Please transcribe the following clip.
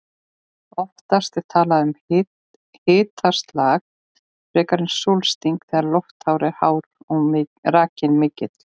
Oftast er talað um hitaslag frekar en sólsting þegar lofthiti er hár og raki mikill.